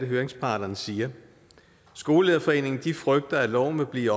høringsparterne siger skolelederforeningen frygter at loven vil blive